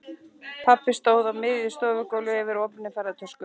Pabbi stóð á miðju stofugólfi yfir opinni ferðatösku.